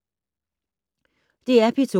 DR P2